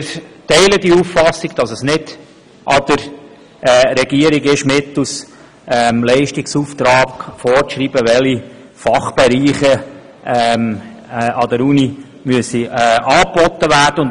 Wir teilen die Auffassung, es sei nicht an der Regierung, mittels Leistungsauftrag vorzuschreiben, welche Fachbereiche an der Universität angeboten werden müssten.